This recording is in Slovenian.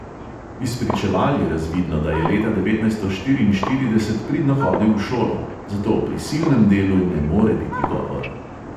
Iz spričeval je razvidno, da je leta devetnajsto štiriinštirideset pridno hodil v šolo, zato o prisilnem delu ne more biti govora.